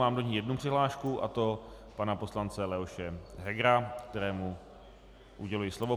Mám do ní jednu přihlášku, a to pana poslance Leoše Hegera, kterému uděluji slovo.